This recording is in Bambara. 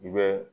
I bɛ